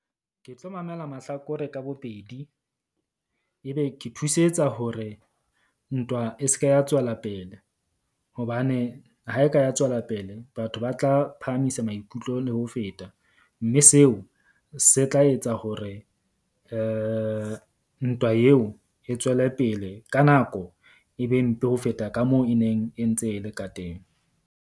Ke tlo mamela mahlakore ka bobedi, ebe ke thusetsa hore ntwa e se ke ya tswela pele. Hobane ha e ka ya tswela pele batho ba tla phahamisa maikutlo le ho feta. Mme seo se tla etsa hore ntwa eo e tswele pele ka nako e be mpe ho feta ka moo e neng e ntse e le ka teng.